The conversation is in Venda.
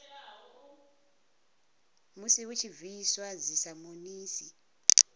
musi hu tshi bviswa dzisamonisi